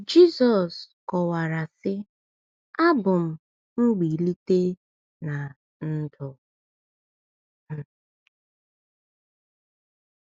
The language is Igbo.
Jizọs kọwara sị: “Abụ m mgbilite na ndụ.